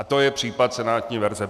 A to je případ senátní verze.